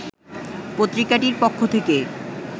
পত্রিকাটির পক্ষ থেকে